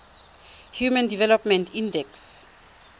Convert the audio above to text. human development index